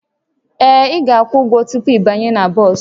Ee, ị ga-akwụ ụgwọ tupu ịbanye na bọs